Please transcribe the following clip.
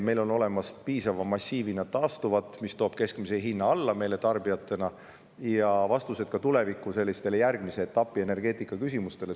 Meil on olemas piisava massiivina taastuvat energiat, mis toob keskmise hinna meile tarbijatena alla ja annab ka vastused tulevikuks järgmise etapi energeetikaküsimustele.